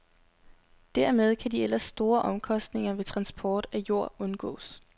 Dermed kan de ellers store omkostninger ved transport af jord undgås.